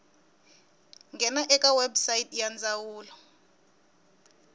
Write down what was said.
nghena eka website ya ndzawulo